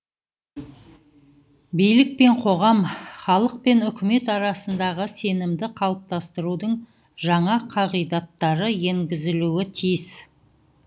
билік пен қоғам халық пен үкімет арасындағы сенімді қалыптастырудың жаңа қағидаттары енгізілуі тиіс